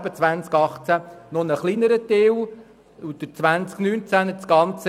Ein kleinerer Teil betrifft das Jahr 2018.